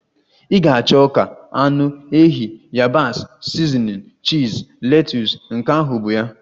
Ị ga-achọ ọka, anụ ehi, yabasị, sizinin, chiz, letus, nke ahụ bụ ya.